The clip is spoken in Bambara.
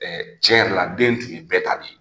Ɛɛ cɛn yɛrɛ la den tun ye bɛɛ ta de ye.